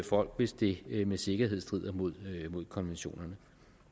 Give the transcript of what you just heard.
folk hvis det med sikkerhed strider mod konventionerne